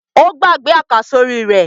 Ó gbàgbé àkàsórí rẹ̀?